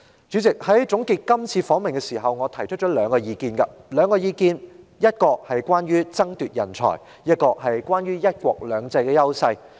主席，在總結今次訪問時，我提出兩個意見，其一是關於人才的爭奪，其二是關於"一國兩制"的優勢。